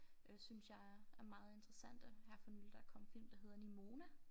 Øh synes jeg er meget interessante her for nyligt der kom en film der hedder Nimona